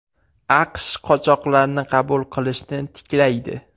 AQSh qochoqlarni qabul qilishni tiklaydi.